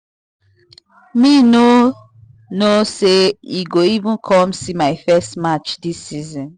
me no know say e go even come see my first match this season